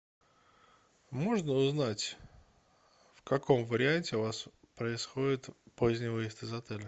можно узнать в каком варианте у вас происходит поздний выезд из отеля